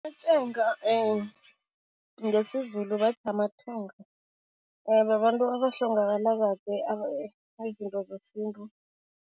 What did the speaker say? Amatshenga ngesiZulu bathi babantu abahlongakala kade zesintu.